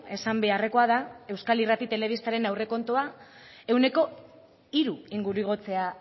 esan beharrekoa da euskal irrati telebistaren aurrekontua ehuneko hiru inguru igotzea